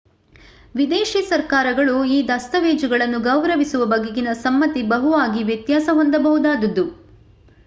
ವಿದೇಶೀ ಸರ್ಕಾರಗಳು ಈ ದಸ್ತಾವೇಜುಗಳನ್ನು ಗೌರವಿಸುವ ಬಗೆಗಿನ ಸಮ್ಮತಿ ಬಹುವಾಗಿ ವ್ಯತ್ಯಾಸ ಹೊಂದಬಹುದಾದುದು